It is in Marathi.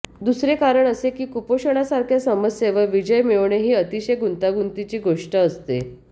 दुसरे कारण असे की कुपोषणासारख्या समस्येवर विजय मिळवणे ही अतिशय गुंतागुंतीची गोष्ट असते